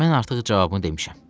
Mən artıq cavabını demişəm.